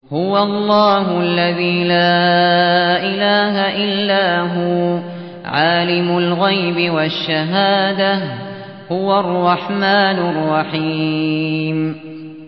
هُوَ اللَّهُ الَّذِي لَا إِلَٰهَ إِلَّا هُوَ ۖ عَالِمُ الْغَيْبِ وَالشَّهَادَةِ ۖ هُوَ الرَّحْمَٰنُ الرَّحِيمُ